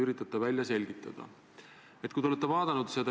NATO ja transatlantilised suhted on Eesti jaoks ääretult olulised.